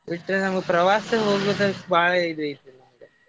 ಬಿಟ್ರೆ ನಮ್ಗ್ ಪ್ರವಾಸ ಹೋಗ್ಬೇಕಂತ್ ಬಾಳ ಇದ್ ಐತ್ರಿ ನಂಗೆ.